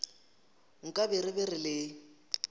nkabe re be re le